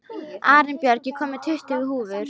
Arinbjörg, ég kom með tuttugu húfur!